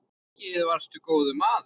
Og mikið varstu góður maður.